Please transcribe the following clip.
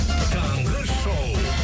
таңғы шоу